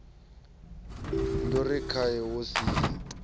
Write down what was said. ndo ri khae wo sia